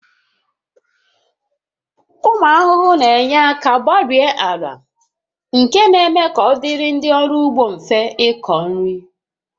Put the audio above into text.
Ụmụ ahụhụ na-enye aka gbarie ala nke na-eme ka ọ dịrị ndị ọrụ ugbo mfe ịkọ nri